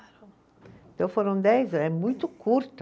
Então foram dez, é muito curta.